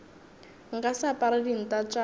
nka se apare dinta tša